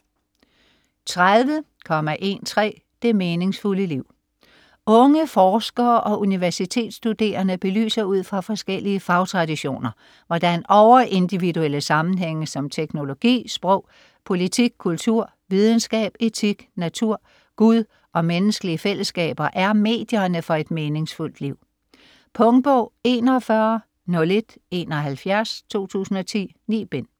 30.13 Det meningsfulde liv Unge forskere og universitetsstuderende belyser ud fra forskellige fagtraditioner, hvordan over-individuelle sammenhænge som teknologi, sprog, politik, kultur, videnskab , etik, natur, Gud og menneskelige fællesskaber er medierne for et meningsfuldt liv. Punktbog 410171 2010. 9 bind.